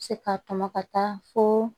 Se ka tɔmɔ ka taa fo